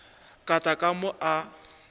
ka tla ka mo a